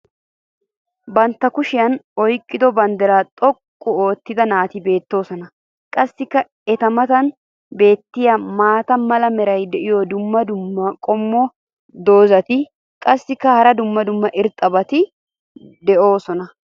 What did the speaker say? Bantta kushiyan oyqqido bandiraa xoqqu oottida naati beetoosona. qassi eta matan beetiya maata mala meray diyo dumma dumma qommo dozzati qassikka hara dumma dumma irxxabati doosona.